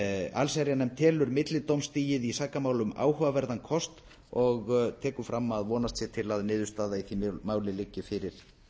allsherjarnefnd telur millidómstigið í sakamálum áhugaverðan kost og tekur fram að vonast sé til að niðurstaða í því máli liggi fyrir